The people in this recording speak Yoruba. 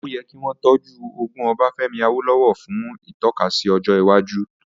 Ó yẹ kí wọ́n tọ́jú ogún Ọbafẹ́mi Awólówọ̀ fún ìtọ́kasí ọjọ́ iwájú